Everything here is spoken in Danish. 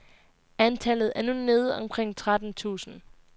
Antallet er nu nede omkring tretten tusind.